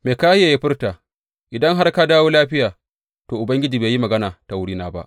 Mikahiya ya furta, Idan har ka dawo lafiya, to, Ubangiji bai yi magana ta wurina ba.